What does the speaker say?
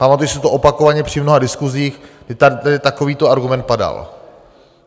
Pamatuji si to opakovaně při mnoha diskusích, že tady takovýto argument padal.